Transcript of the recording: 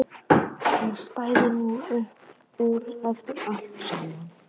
Hún stæði nú upp úr eftir allt saman.